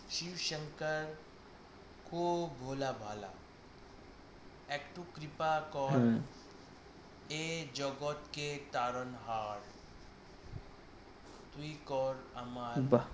শিব শংকর খুব ভোলা ভালা একটু কৃপা কর এ জগতকে পালন হার তুই কর আমার বাহ